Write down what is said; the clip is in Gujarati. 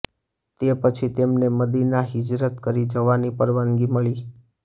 તે પછી તેમને મદીના હિજરત કરી જવાની પરવાનગી મળી